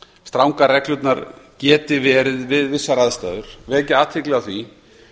strangar reglurnar geti verið við vissar aðstæður vil ég vekja athygli á því